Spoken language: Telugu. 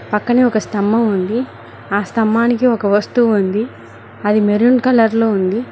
పక్కనే ఒక స్తంభం ఉంది ఆ స్తంభానికి ఒక వస్తువు ఉంది అది మెరూన్ కలర్ లో ఉంది.